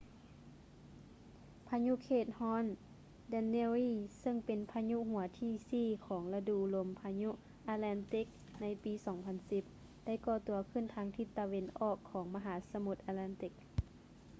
ພາຍຸເຂດຮ້ອນ danielle ເຊິ່ງເປັນພາຍຸຫົວທີສີ່ຂອງລະດູລົມພາຍຸ atlantic ໃນປີ 2010 ໄດ້ກໍ່ຕົວຂຶ້ນທາງທິດຕາເວັນອອກຂອງມະຫາສະໝຸດ atlantic